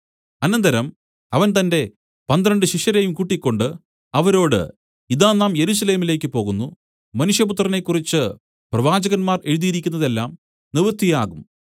അനന്തരം അവൻ തന്റെ പന്ത്രണ്ട് ശിഷ്യരെയും കൂട്ടിക്കൊണ്ട് അവരോട് ഇതാ നാം യെരൂശലേമിലേക്കു പോകുന്നു മനുഷ്യപുത്രനെക്കുറിച്ച് പ്രവാചകന്മാർ എഴുതിയിരിക്കുന്നത് എല്ലാം നിവൃത്തിയാകും